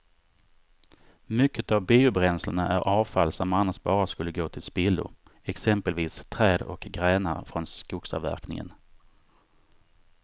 Mycket av biobränslena är avfall som annars bara skulle gå till spillo, exempelvis träd och grenar från skogsavverkningen.